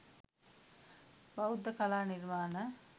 බෞද්ධ කලා නිර්මාණ